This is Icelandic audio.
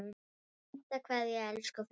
HINSTA KVEÐJA Elsku frændi.